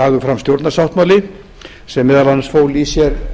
lagður fram stjórnarsáttmáli sem meðal annars fól í sér